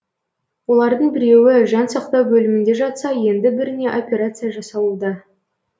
олардың біреуі жан сақтау бөлімінде жатса енді біріне операция жасалуда